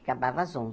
Acabava às